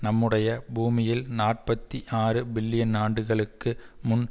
நம்முடைய பூமியில் நாற்பத்தி ஆறு பில்லியன் ஆண்டுகளுக்கு முன்